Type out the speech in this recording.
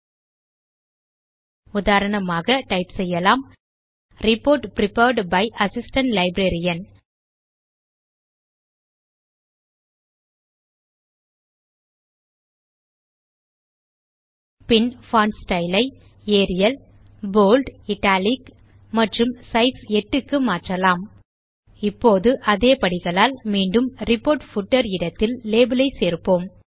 ல்ட்பாசெக்ட் உதாரணமாக டைப் செய்யலாம் report prepared by assistant librarian ல்ட்பாசெக்ட் பின் பான்ட் ஸ்டைல் ஐ ஏரியல் போல்ட் இட்டாலிக் மற்றும் சைஸ் 8 க்கு மாற்றலாம் ல்ட்பாசெக்ட் இப்போது அதே படிகளால் மீண்டும் ரிப்போர்ட் பூட்டர் இடத்தில் லேபல் ஐ சேர்ப்போம்